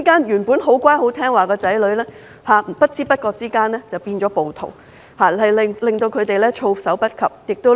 原本很乖巧的子女在不知不覺間變成了暴徒，令他們措手不及，家不成家。